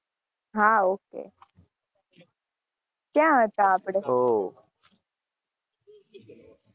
હા ok ક્યાં હતા આપણે